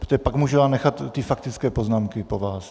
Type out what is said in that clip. Protože pak já můžu nechat ty faktické poznámky po vás.